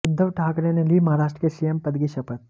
उद्धव ठाकरे ने ली महाराष्ट्र के सीएम पद की शपथ